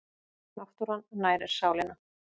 Náttúran nærir sálina